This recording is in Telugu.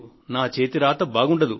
నా చేతి రాత బాగుండదు